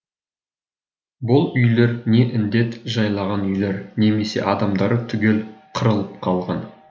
бұл үйлер не індет жайлаған үйлер немесе адамдары түгел қырылып қалған